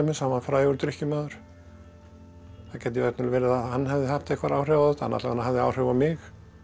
hann var frægur drykkjumaður það gæti verið að hann hefði haft einhver áhrif á þetta hann alla vegana hafði áhrif á mig